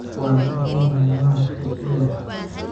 Waan ka xumahay, ma haysto milix